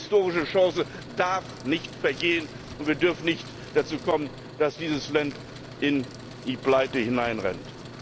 Diese historische Chance darf nicht vergehen und es darf nicht dazu kommen, dass dieses Land in die Pleite hinein rennt!